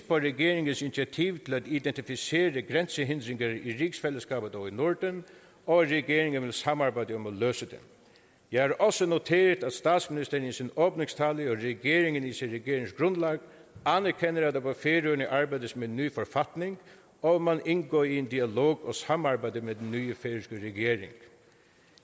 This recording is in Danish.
på regeringens initiativ til at identificere grænsehindringer i rigsfællesskabet og i norden og at regeringen vil samarbejde om at løse dem jeg har også noteret at statsministeren i sin åbningstale og regeringen i sit regeringsgrundlag anerkender at der på færøerne arbejdes med en ny forfatning og at man indgår i en dialog og et samarbejde med den nye færøske regering